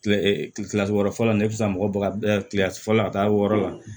Kile kilasi wɔɔrɔ fɔlɔ la ne bɛ se ka mɔgɔ baga kilasi fɔlɔ a ka taa wɔɔrɔ la